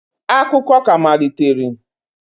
Akụkọ ka amaliteri